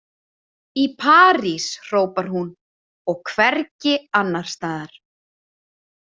Í París, hrópar hún, og hvergi annars staðar! „